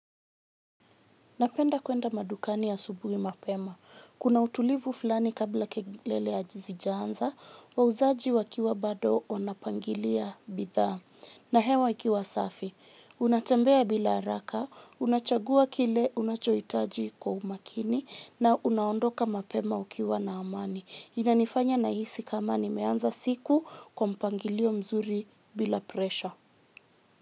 Napenda kuenda madukani asubuhi mapema. Kuna utulivu fulani kabla kelele hazijaanza wauzaji wakiwa bado wanapangilia bidhaa na hewa ikiwa safi. Unatembea bila haraka, unachagua kile unachohitaji kwa umakini na unaondoka mapema ukiwa na amani. Inanifanya nahisi kama nimeanza siku kwa mpangilio mzuri bila presha.